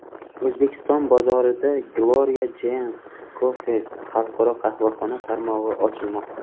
O‘zbekiston bozorida Gloria Jean’s Coffees xalqaro qahvaxona tarmog‘i ochilmoqda.